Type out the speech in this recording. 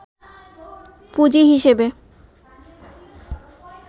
পুঁজি হিসেবে